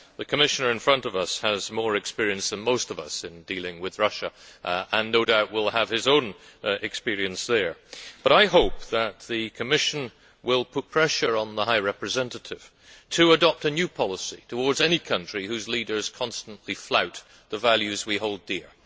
The Commissioner here today has more experience than most of us in dealing with Russia, and no doubt will have his own experience there, but I hope that the Commission will put pressure on the High Representative to adopt a new policy towards any country whose leaders constantly flout the values we hold dear.